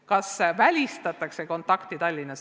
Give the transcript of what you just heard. Kas Tallinnas välistatakse kontaktõpe?